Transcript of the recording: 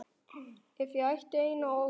Ef ég ætti eina ósk.